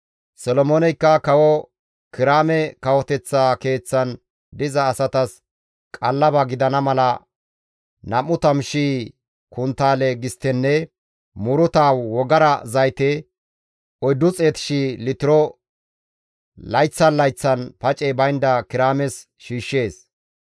Solomooneykka kawo Kiraame kawoteththa keeththan diza asatas qallaba gidana mala 20,000 konttaale gisttenne muuruta wogara zayte 400,000 litiro layththan layththan pacey baynda Kiraames shiishshees.